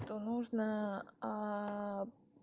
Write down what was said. то нужно